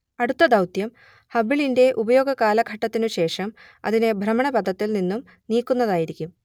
അടുത്ത ദൗത്യം ഹബിളിന്റെ ഉപയോഗ കാലഘട്ടത്തിനു ശേഷം അതിനെ ഭ്രമണപഥത്തിൽ നിന്നും നീക്കുന്നതായിരിക്കും